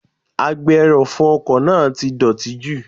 Agbe - ẹrọ̀fọ ọkọ̀ náà ti dọ̀tí jù.